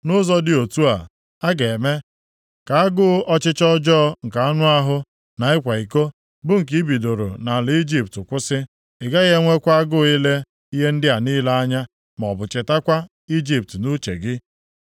Nʼụzọ dị otu a, a ga-eme ka agụ ọchịchọ ọjọọ nke anụahụ na ịkwa iko, bụ nke i bidoro nʼala Ijipt kwụsị. Ị gaghị enwekwa agụụ ile ihe ndị a niile anya maọbụ chetakwa Ijipt nʼuche gị.